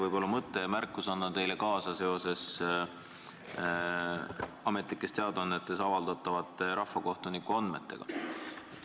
Minu teine märkus puudutab Ametlikes Teadaannetes avaldatavaid rahvakohtuniku andmeid.